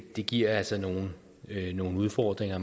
det giver altså nogle nogle udfordringer